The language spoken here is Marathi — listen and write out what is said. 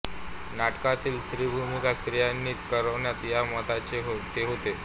नाटकांतील स्त्रीभूमिका स्त्रियांनीच कराव्यात या मताचे ते होते